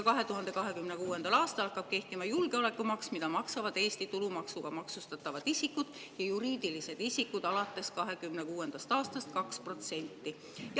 2026. aastal hakkab kehtima julgeolekumaks, mida maksavad Eesti tulumaksuga maksustatavad isikud ja juriidilised isikud 2%.